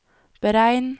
beregn